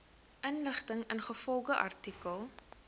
inligting ingevolge artikel